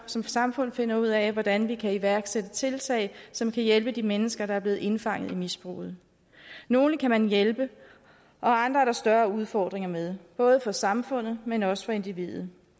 som samfund finder ud af hvordan vi kan iværksætte tiltag som kan hjælpe de mennesker der er blevet indfanget af misbruget nogle kan man hjælpe og andre er der større udfordringer med både for samfundet men også for individet